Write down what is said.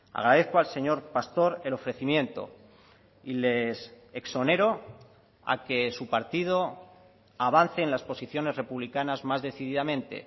agradezco al señor pastor el ofrecimiento y les exonero a que su partido avance en las posiciones republicanas más decididamente